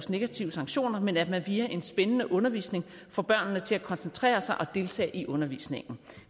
negative sanktioner men at man via en spændende undervisning får børnene til at koncentrere sig og deltage i undervisningen